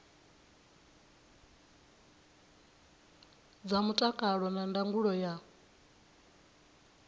dza mutakalo na ndangulo ya